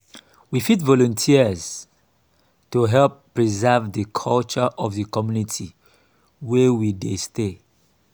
we fit volunteers to help preserve di culture of di community wey we dey stay